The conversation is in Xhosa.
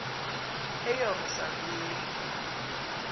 eyerusalem